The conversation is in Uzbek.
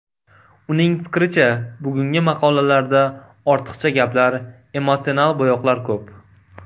Uning fikricha, bugungi maqolalarda ortiqcha gaplar, emotsional bo‘yoqlar ko‘p.